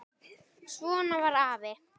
Svona var afi.